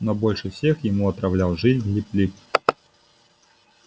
но больше всех ему отравлял жизнь лип лип